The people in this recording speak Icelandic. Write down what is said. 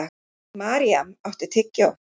Maríam, áttu tyggjó?